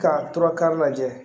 Ka tura kari lajɛ